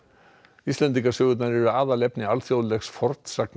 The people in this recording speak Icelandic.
Íslendingasögurnar eru aðalefni alþjóðlegs